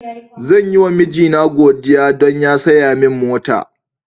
Zan yi ma mijina godiya don saya min mota.